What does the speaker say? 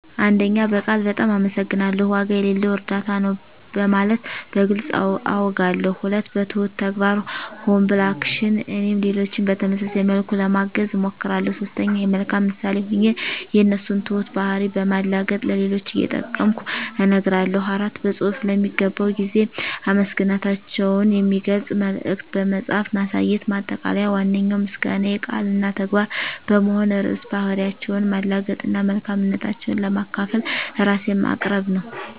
በቃል "በጣም አመሰግናለሁ"፣ "ዋጋ የሌለው እርዳታ ነው" በማለት በግልፅ አውጋለሁ። 2. በትሁት ተግባር (Humble Action) - እኔም ሌሎችን በተመሳሳይ መልኩ ለማገዝ እሞክራለሁ። 3. የመልካም ምሳሌ ሆኜ የእነሱን ትሁት ባህሪ በማላገጥ ለሌሎች እየጠቀምኩ እነግራለሁ። 4. በፅሁፍ ለሚገባው ጊዜ አመሰግናታቸውን የሚገልጽ መልዕክት በመጻፍ ማሳየት። ማጠቃለያ ዋነኛው ምስጋናዬ ቃል እና ተግባር በመሆን ርዕሰ ባህሪያቸውን ማላገጥ እና መልካምነታቸውን ለማካፈል ራሴን ማቅረብ ነው።